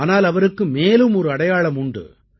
ஆனால் அவருக்கு மேலும் ஒரு அடையாளம் உண்டு